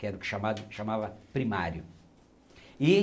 Que era chamava primário. E